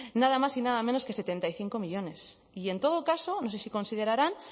nada más y nada menos que setenta y cinco millónes y en todo caso no sé si considerarán